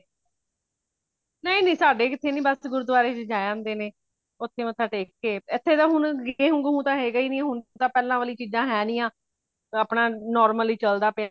ਨਹੀਂ ਨਹੀਂ ਸਾਡੇ ਕਿਥੇ ਨਹੀਂ ਬਸ ਗੁਰਦੁਆਰੇ ਵਿੱਚ ਜਾ ਆਂਦੇ ਨੇ ਓਥੇ ਮੱਥਾ ਟੇਕ ਕੇ ਏਥੇ ਤਾ ਹੁਣ ਗੇਹੁ ਗੂਹੁ ਤੇ ਹੇਗਾ ਹੀ ਨਹੀਂ ਹੁਣ ਤਾ ਪਹਿਲਾ ਵਾਲਿਆਂ ਚੀਜਾਂ ਹੈ ਨਹੀਂ ਹਾਂ ਆਪਣਾ normal ਹੀ ਚਲਦਾ ਪਿਆ